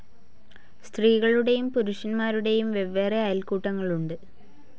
സ്ത്രീകളുടേയും പുരുഷൻമാരുടേയും വെവ്വേറെ അയൽക്കൂട്ടങ്ങളുണ്ട്.